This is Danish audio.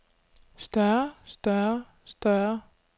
større større større